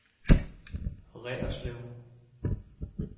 Reerslev